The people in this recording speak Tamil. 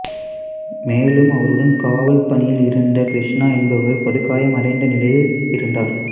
மேலும் அவருடன் காவல் பணியில் இருந்த கிருஷ்ணா என்பவர் படுகாயமடைந்த நிலையில் இருந்தார்